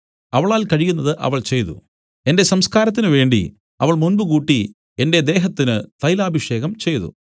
അവളാൽ കഴിയുന്നത് അവൾ ചെയ്തു എന്റെ സംസ്ക്കാരത്തിനുവേണ്ടി അവൾ മുമ്പുകൂട്ടി എന്റെ ദേഹത്തിന് തൈലാഭിഷേകം ചെയ്തു